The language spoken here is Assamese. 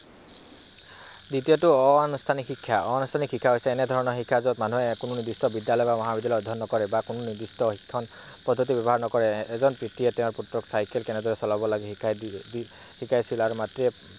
এতিয়াতো অনানুষ্ঠানিক শিক্ষা, ই এনেধৰণৰ শিক্ষা যত মানুহে নিৰ্দিষ্ট বিদ্যালয় বা মহাবিদ্যালয়ত অধ্যয়ন নকৰে বা কোনো নিৰ্দিষ্ট অধ্যয়ন পদ্ধতি ব্যৱহাৰ নকৰে। এজন পিতৃয়ে তেওঁৰ পুত্ৰক চাইকেল কেনেদৰে চলাব লাগে শিকাইছিল আৰু মাতৃয়ে